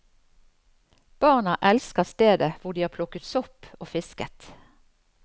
Barna elsker stedet, hvor de har plukket sopp og fisket.